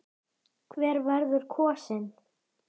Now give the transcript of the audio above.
Hver verður kosinn?